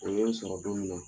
O ye n sɔrɔ don mina